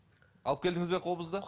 алып келдіңіз бе қобызды